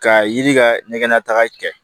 Ka yiri ka ɲɛgɛn nataga kɛ